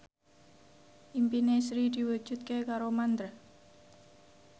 impine Sri diwujudke karo Mandra